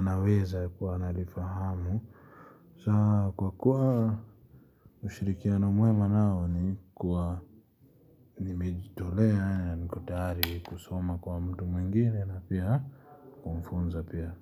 anaweza kuwa analifahamu. Kwa kuwa ushirikiana mwema nao ni kuwa nimejitolea ya nikotari kusoma kwa mtu mwingine na pia kumfunza pia.